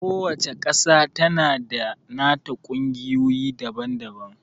Ku wacca ƙasa tana da nata ƙungiyoyi daban-daban